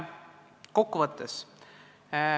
Kokkuvõtteks.